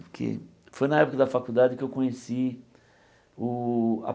Que foi época da faculdade que eu conheci o a